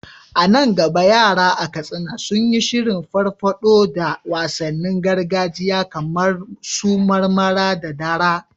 A nan gaba yara a Katsina sun yi shirin farfado da wasannin gargajiya kamar su marmara da dara.